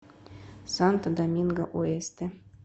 санто доминго оэсте